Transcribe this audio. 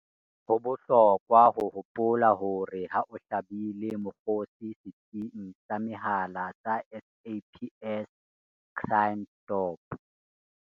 Ho bohlokwa ho hopola hore ha o hlabile mokgosi setsing sa mehala sa SAPS Crime Stop